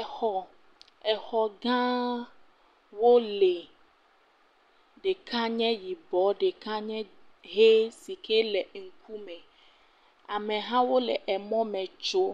exɔ exɔ gãwo li ɖeka nye yibɔ ɖeka nye hɛ sike le ŋkume amehawo le emɔme tsom